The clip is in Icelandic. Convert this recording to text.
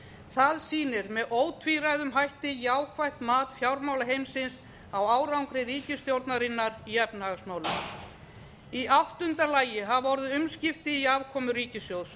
það sýnir með ótvíræðum hætti jákvætt mat fjármálaheimsins á árangri ríkisstjórnarinnar í efnahagsmálum í áttunda lagi hafa orðið umskipti í afkomu ríkissjóðs